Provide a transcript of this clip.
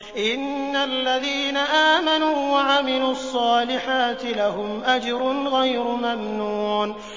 إِنَّ الَّذِينَ آمَنُوا وَعَمِلُوا الصَّالِحَاتِ لَهُمْ أَجْرٌ غَيْرُ مَمْنُونٍ